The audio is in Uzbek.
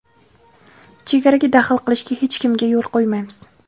Chegaraga daxl qilishga hech kimga yo‘l qo‘ymaymiz.